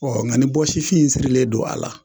Ɔ nka nin bɔsifin in sirilen don a la